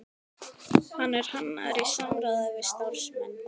Hann er hannaður í samráði við starfsmenn